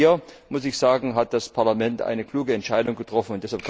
Auch hier, muss ich sagen, hat das Parlament eine kluge Entscheidung getroffen.